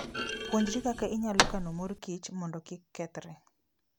Puonjri kaka inyalo kano mor kich mondo kik kethre.